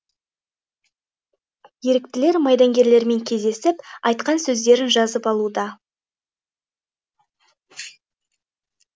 еріктілер майдангерлермен кездесіп айтқан сөздерін жазып алуда